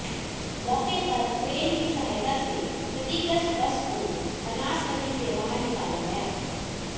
मौके पर क्रेन की सहायता से क्षतिग्रस्त बस को बनास नदी से बाहर निकाला गया